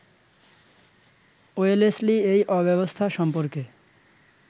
Wellesley এই অব্যবস্থা সম্পর্কে